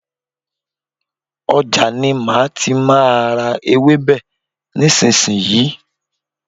Ọjà ni má tí má a ra ewébè nísìsiyìí.